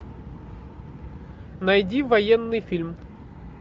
найди военный фильм